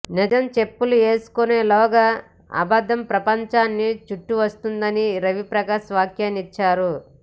నిజం చెప్పులు వేసుకునేలోగా అబద్ధం ప్రపంచాన్ని చుట్టి వస్తుందని రవి ప్రకాష్ వ్యాఖ్యానించారు